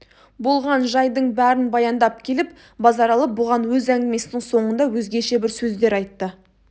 болған жайдың бәрін баяндап келіп базаралы бұған өз әңгімесінің соңында өзгеше бір сөздер айтты